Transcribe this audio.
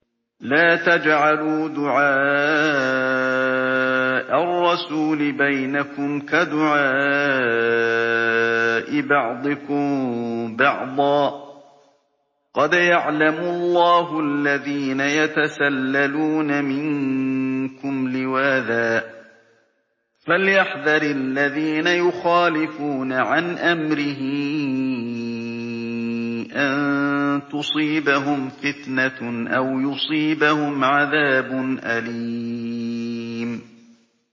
لَّا تَجْعَلُوا دُعَاءَ الرَّسُولِ بَيْنَكُمْ كَدُعَاءِ بَعْضِكُم بَعْضًا ۚ قَدْ يَعْلَمُ اللَّهُ الَّذِينَ يَتَسَلَّلُونَ مِنكُمْ لِوَاذًا ۚ فَلْيَحْذَرِ الَّذِينَ يُخَالِفُونَ عَنْ أَمْرِهِ أَن تُصِيبَهُمْ فِتْنَةٌ أَوْ يُصِيبَهُمْ عَذَابٌ أَلِيمٌ